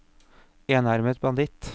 enarmet banditt